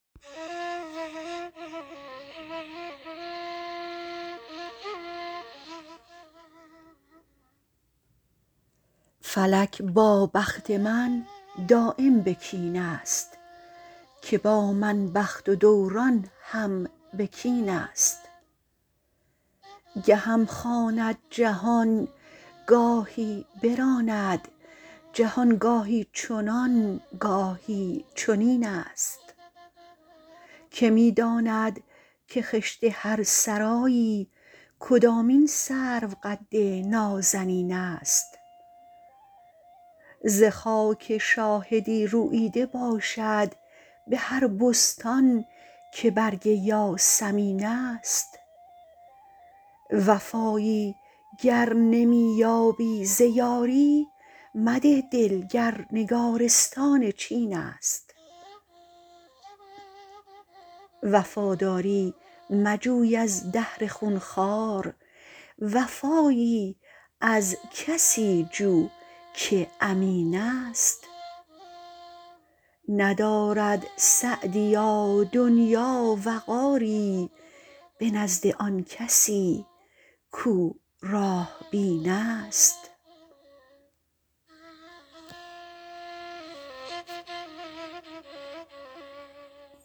فلک با بخت من دایم به کین است که با من بخت و دوران هم به کین است گهم خواند جهان گاهی براند جهان گاهی چنان گاهی چنین است که می داند که خشت هر سرایی کدامین سروقد نازنین است ز خاک شاهدی روییده باشد به هر بستان که برگ یاسمین است وفایی گر نمی یابی ز یاری مده دل گر نگارستان چین است وفاداری مجوی از دهر خونخوار وفایی از کسی جو که امین است ندارد سعدیا دنیا وقاری به نزد آن کسی کاو راه بین است